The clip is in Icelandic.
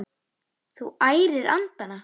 Þú ærir andana!